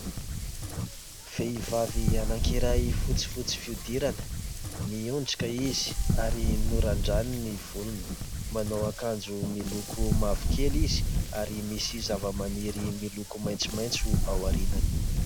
Vehivavy anankiray fotsifotsy fihodirana, mihondrika izy ary norandraniny ny volony ; manao ankanjo miloko mavokely izy ary misy zavamaniry miloko maitsomaitso ao aorinany.